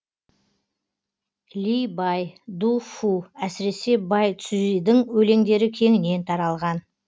ли бай ду фу әсіресе бай цзюйидың өлеңдері кеңінен таралған